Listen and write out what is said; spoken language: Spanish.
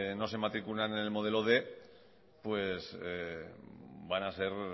no se matriculan en el modelo quinientos pues van a ser